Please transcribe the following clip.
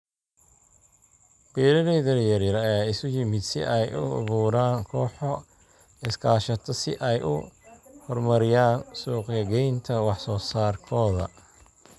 Beeralayda yaryar ayaa isu yimid si ay u abuuraan kooxo iskaashato si ay u horumariyaan suuq-gaynta wax soo saarkooda.